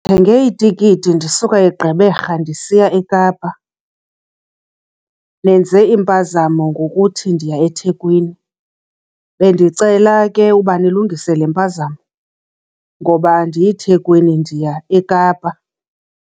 Ndithenge itikiti ndisuka eGqeberha ndisiya eKapa nenze impazamo ngokuthi ndiya eThekwini. Bendicela ke uba nilungise le mpazamo ngoba andiyi eThekwini ndiya eKapa.